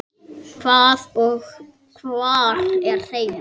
Hvað og hvar er heima?